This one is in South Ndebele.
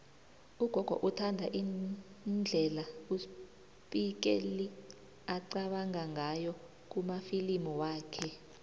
ugogo uthanda indlela uspike lee aqabanga ngayo kumafilimu wakhe